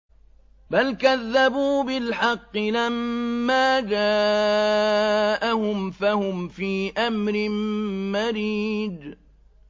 بَلْ كَذَّبُوا بِالْحَقِّ لَمَّا جَاءَهُمْ فَهُمْ فِي أَمْرٍ مَّرِيجٍ